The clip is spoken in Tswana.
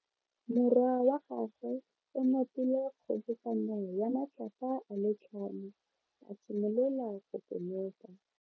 Morwa wa gagwe o nopile kgobokano ya matlapa a le tlhano, a simolola go konopa.